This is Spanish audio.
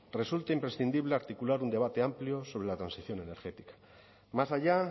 resulte imprescindible articular un debate amplio sobre la transición energética más allá